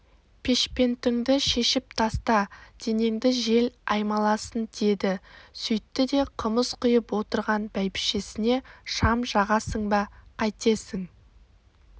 пешпентіңді шешіп таста денеңді жел аймаласын деді сөйтті де қымыз құйып отырған бәйбішесіне шам жағасың ба қайтесің